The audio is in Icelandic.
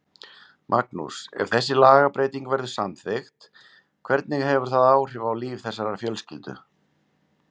Magnús, ef þessi lagabreyting verður samþykkt, hvernig hefur það áhrif á líf þessarar fjölskyldu?